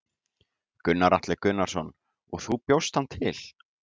Gunnar Atli Gunnarsson: Og þú bjóst hann til?